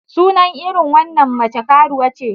Sunan irin wannan mace karuwa ce.